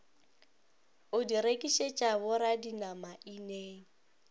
o di rekišetša boradinama ineng